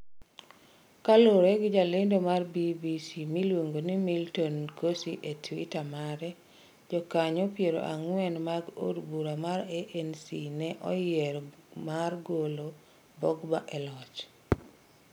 Kaluwore gi jalendo mar BBC miluongo ni Milton Nkosi e tweeter mare, jokanyo pier ang'wen mag od bura mar ANC ne oyiero mar golo Gbagbo e loch.